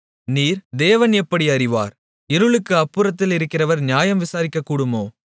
நீர் தேவன் எப்படி அறிவார் இருளுக்கு அப்புறத்திலிருக்கிறவர் நியாயம் விசாரிக்கக்கூடுமோ